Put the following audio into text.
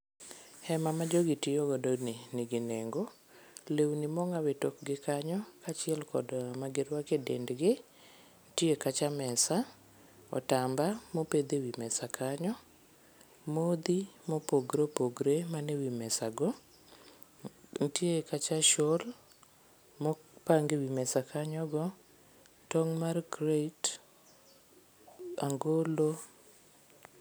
Hema ma jogi tiyo godo ni nigi nengo, lewni ma ong'aw e tokgi kanyo kachiel kod ma giruako e dendgi, nitie kacha mesa, otamba mopedh e mesa kanyo, modhi ma opogore opogore manie wii mesa go, nitie kacha shawl mopang ewi mesa kanyo go, tong' mar crate ,angolo